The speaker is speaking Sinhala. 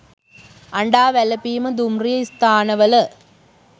අඬා වැළපීම දුම්රිය ස්ථානවල